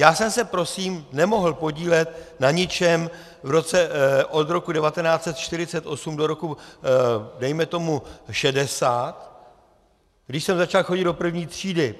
Já jsem se prosím nemohl podílet na ničem od roku 1948 do roku, dejme tomu, 1960, když jsem začal chodit do první třídy.